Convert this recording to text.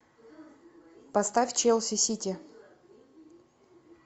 поставь челси сити